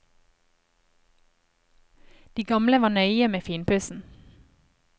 De gamle var nøye med finpussen.